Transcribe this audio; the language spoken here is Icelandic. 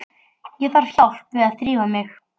Ég þarf hjálp við að þrífa mig.